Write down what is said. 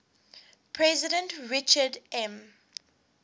president richard m